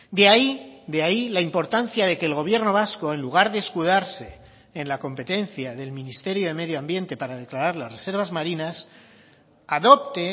de ahí de ahí la importancia de que el gobierno vasco en lugar de escudarse en la competencia del ministerio de medio ambiente para declarar las reservas marinas adopte